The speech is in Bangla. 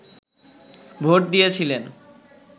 ভোট দিয়েছিলেন